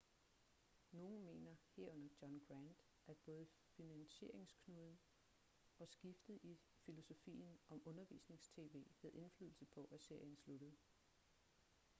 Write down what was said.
nogen mener herunder john grant at både finansieringsknuden og skiftet i filosofien om undervisnings-tv havde indflydelse på at serien sluttede